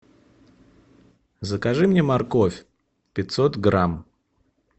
закажи мне морковь пятьсот грамм